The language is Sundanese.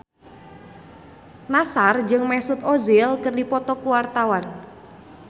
Nassar jeung Mesut Ozil keur dipoto ku wartawan